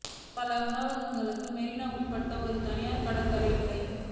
பல உணவகங்களும் மெரினா உட்பட ஒரு தனியார் கடற்கரை இல்லை